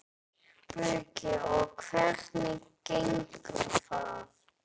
Breki: Og hvernig gengur það?